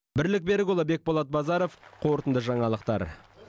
бірлік берікұлы бекболат базаров қорытынды жаңалықтар